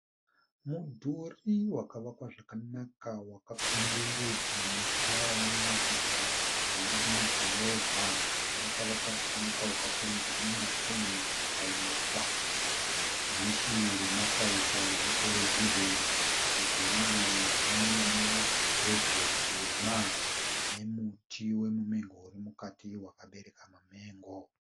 Mudhuri wakavakwa zvakanaka wakakomberedza musha unoratidza kuti uri mudhorobha. Wakavakwa zvakanaka ukapfurirwa namazen'e ukaiswa dhishi ramasaisai eterevizhoni. Mudhuri uyu une gedhe dema nomuti womumengo uri mukati wakabereka mamengo.